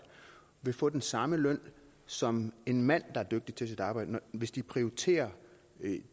vil få den samme løn som en mand der er dygtig til sit arbejde hvis de prioriterer